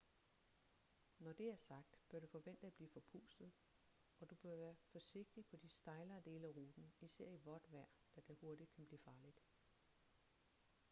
når det er sagt bør du forvente at blive forpustet og du bør være forsigtig på de stejlere dele af ruten især i vådt vejr da det hurtigt kan blive farligt